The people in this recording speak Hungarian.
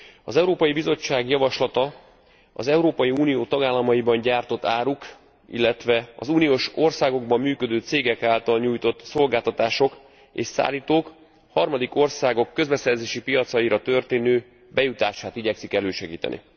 Az Európai Bizottság javaslata az Európai Unió tagállamaiban gyártott áruk, illetve az uniós országokban működő cégek által nyújtott szolgáltatások és szállítók harmadik országok közbeszerzési piacaira történő bejutását igyekszik elősegíteni.